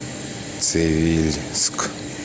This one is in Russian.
цивильск